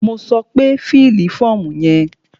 Mo sọ pé fílì fọ́ọ̀mù yẹn!